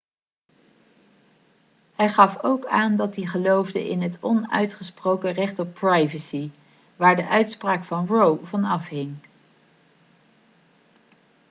hij gaf ook aan dat hij geloofde in het onuitgesproken recht op privacy waar de uitspraak over roe van afhing